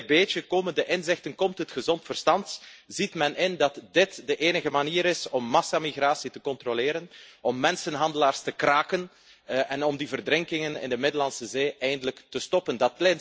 Stukje bij beetje komen de inzichten, komt het gezond verstand, ziet men in dat dit de enige manier is om massamigratie te controleren, om mensenhandelaars te kraken, en om die verdrinkingen in de Middellandse Zee eindelijk te stoppen.